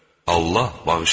Allah bağışlayandır.